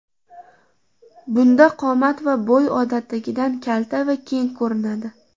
Bunda qomat va bo‘y odatdagidan kalta va keng ko‘rinadi.